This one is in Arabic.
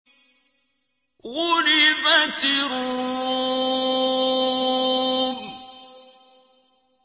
غُلِبَتِ الرُّومُ